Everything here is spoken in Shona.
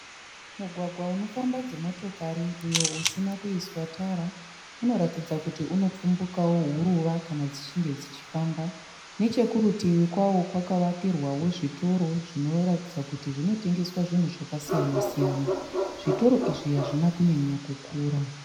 Mugwagwa unofamba dzimotokari uyo usina kuiswa tara. Unotaridza kuti unopfumbukawo huruva kana dzichinge dzichifamba. Nechekurutivi kwawo kwakavakirwawo zvitoro zvinotengesa zvinhu zvakasiyana siyana. Zvitoro izvi hazvina kunyanya kukura.